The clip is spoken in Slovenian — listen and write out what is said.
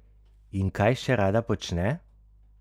In kaj še rada počne?